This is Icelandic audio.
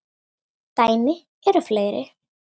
Dæmi eru fleiri.